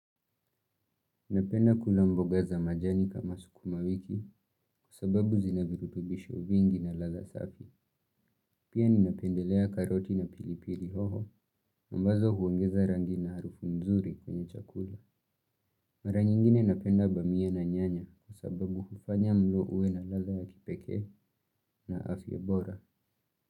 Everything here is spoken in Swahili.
Napenda kula mboga za majani kama sukuma wiki kwa sababu zina virutubisho vingi na ladha safi. Pia ninapendelea karoti na pilipili hoho ambazo huongeza rangi na harufu mzuri kwenye chakula. Mara nyingine napenda bamia na nyanya kwa sababu hufanya mlo uwe na ladha ya kipekee na afya bora.